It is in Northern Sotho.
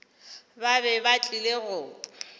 ba be ba tlile go